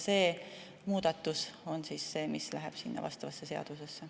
See muudatus läheb sinna seadusesse.